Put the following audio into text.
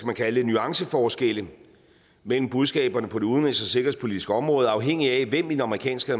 man kalde det nuanceforskelle mellem budskaberne på det udenrigs og sikkerhedspolitiske område afhængigt af hvem i den amerikanske